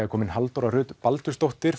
er komin Halldóra Rut Baldursdóttir